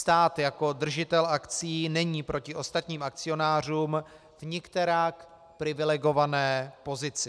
Stát jako držitel akcií není proti ostatních akcionářům v nikterak privilegované pozici.